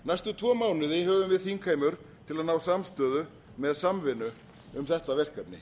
næstu tvo mánuði höfum við þingheimur til að ná samstöðu með samvinnu um þetta verkefni